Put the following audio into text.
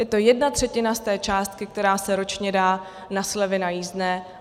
Je to jedna třetina z té částky, která se ročně dá na slevy na jízdné.